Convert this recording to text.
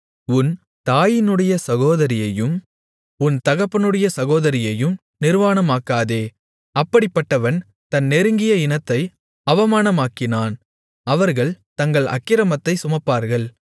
உன் தாயினுடைய சகோதரியையும் உன் தகப்பனுடைய சகோதரியையும் நிர்வாணமாக்காதே அப்படிப்பட்டவன் தன் நெருங்கிய இனத்தை அவமானமாக்கினான் அவர்கள் தங்கள் அக்கிரமத்தைச் சுமப்பார்கள்